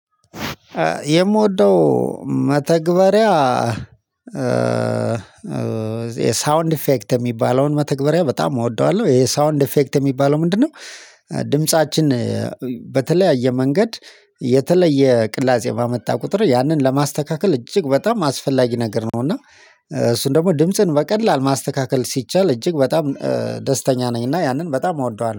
የምወደው መተግበሪያ የሳውንድ ኢፌክት የሚባለውን መተግበሪያ በጣም እወደዋለሁ የሳውንድ ኢፌክት የሚባለው ምንድነው? ድምፃችን መንገድ የተለየ ቅላጼ ባመጣ ቁጥር ያንን ለማስተካከል እጅግ በጣም አስፈላጊ ነገር ነው። እና እሱን ደግሞ ድምጽን በቀላል ማስተካከል ሲቻል እጅግ በጣም ደስተኛ ነኝ እና ያንን በጣም እወደዋለሁ